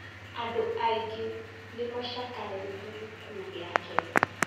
Andũ aingĩ nĩ macakaĩte gĩkuũ gĩake